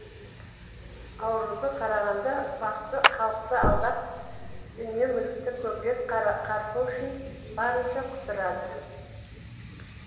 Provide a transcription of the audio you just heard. ауруды қарағанда бақсы халықты алдап дүние мүлікті көбірек қарпу үшін барынша құтырады